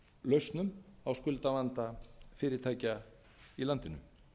lausnum á skuldavanda fyrirtækja í landinu